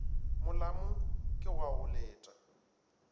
molamo ke wa go leta